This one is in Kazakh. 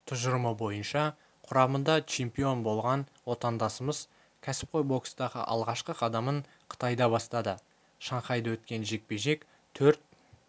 тұжырымы бойынша құрамында чемпион болған отандасымыз кәсіпқой бокстағы алғашқы қадамын қытайда бастады шанхайда өткен жекпе-жек төрт